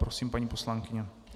Prosím, paní poslankyně.